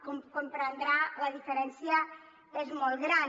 com comprendrà la diferència és molt gran